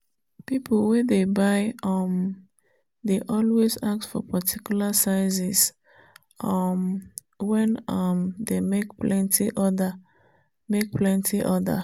people wey dey buy um dey always ask for particular sizes um wen um dem make plenty order make plenty order